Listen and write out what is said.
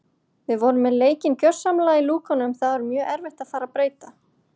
Við vorum með leikinn gjörsamlega í lúkunum þá er mjög erfitt að fara að breyta.